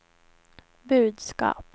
budskap